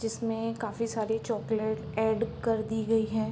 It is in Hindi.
जिसमें काफी सारी चॉक्लेट ऐड कर दी गई है।